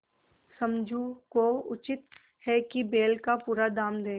समझू को उचित है कि बैल का पूरा दाम दें